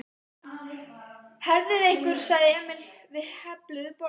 Herðið ykkur sagði Emil við hefluðu borðin.